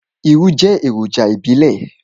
Irú jẹ́ èròjà ìbílẹ̀.